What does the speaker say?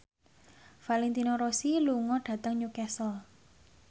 Valentino Rossi lunga dhateng Newcastle